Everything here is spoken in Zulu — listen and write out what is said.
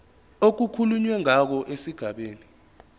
okukhulunywe ngawo esigabeni